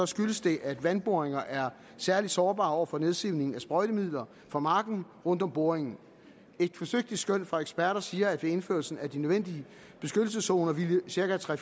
skyldes det at vandboringer er særlig sårbare over for nedsivning af sprøjtemidler fra marken rundt om boringen et forsigtigt skøn fra eksperter siger at ved indførelse af de nødvendige beskyttelseszoner ville cirka tre